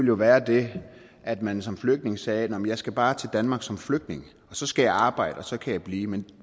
jo være det at man som flygtning sagde nå jamen jeg skal bare til danmark som flygtning og så skal jeg arbejde og så kan jeg blive men